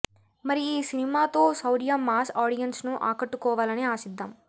మరి ఈ సినిమా తో శౌర్య మాస్ ఆడియన్స్ ను ఆకట్టుకోవాలని ఆశిద్దాం